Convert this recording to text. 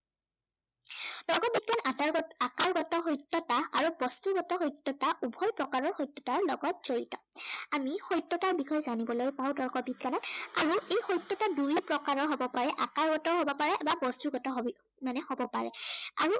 গত সত্য়তা আৰু বস্তুগত সত্য়তা উভয় প্ৰকাৰৰ সত্য়তাৰ লগত জড়িত। আমি সত্য়তাৰ বিষয়ে জানিবলৈ পাও তৰ্ক বিজ্ঞানত। আৰু এই সত্য়তা দুই প্ৰকাৰৰ হ'ব পাৰে। আকাৰগত হব পাৰে বা বস্তুগত হবি মানে হ'ব পাৰে।